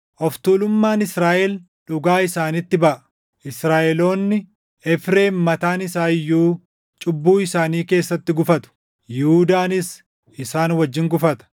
Of tuulummaan Israaʼel dhugaa isaanitti baʼa; Israaʼeloonni, Efreem mataan isaa iyyuu // cubbuu isaanii keessatti gufatu; Yihuudaanis isaan wajjin gufata.